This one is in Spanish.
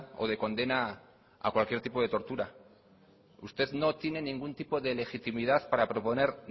o de condena a cualquier tipo de tortura usted no tiene ningún tipo de legitimidad para proponer